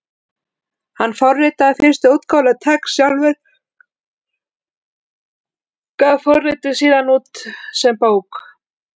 Hann forritaði fyrstu útgáfuna af TeX sjálfur og gaf forritið síðan út sem bók.